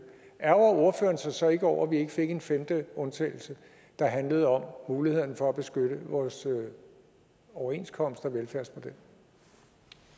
ærgrer ordføreren sig så ikke over at vi ikke fik en femte undtagelse der handlede om mulighederne for at beskytte vores overenskomst